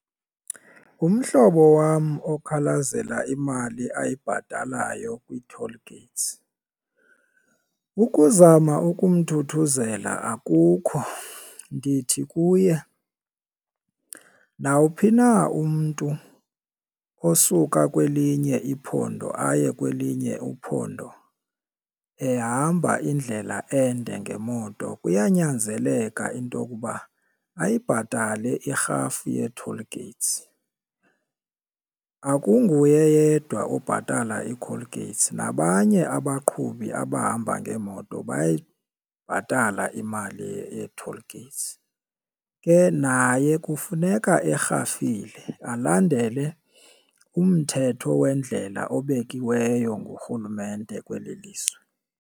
Umhlobo wam okhalazela imali ayibhatalayo kwii-toll gates, ukuzama ukumthuthuzela akukho. Ndithi kuye, nawuphi na umntu osuka kwelinye iphondo aye kwelinye uphondo ehamba indlela ende ngemoto kuyanyanzeleka into yokuba ayibhatale irhafu yee-toll gates. Akunguye yedwa obhatala iiColgates nabanye abaqhubi abahamba ngeemoto bayayibhatala imali yee-toll gates, ke naye kufuneka erhafile alandele umthetho weendlela obekiweyo ngurhulumente kweli lizwe.